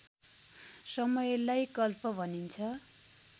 समयलाई कल्प भनिन्छ